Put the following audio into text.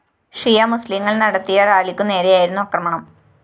ഷിയ മുസ്ലീങ്ങള്‍ നടത്തിയ റാലിയ്ക്കു നേരെയായിരുന്നു ആക്രമണം